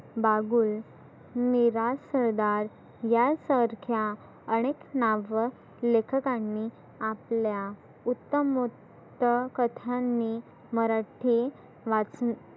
बागुल, मेराज सरदार, यां सारख्या आनेक नाव लेखकांनी आपल्या उत्तम व क्त कथांनी मराठी वाचुन